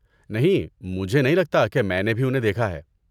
نہیں، مجھے نہیں لگتا کہ میں نے بھی انہیں دیکھا ہے۔